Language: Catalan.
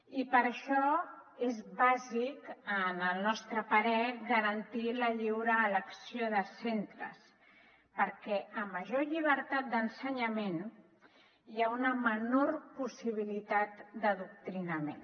i per això és bàsic al nostre parer garantir la lliure elecció de centres perquè a major llibertat d’ensenyament hi ha una menor possibilitat d’adoctrinament